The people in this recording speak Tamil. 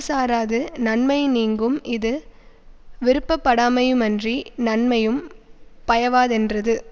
சாராது நன்மையினீங்கும் இது விருப்பப்படாமையுமன்றி நன்மையும் பயவாதென்றது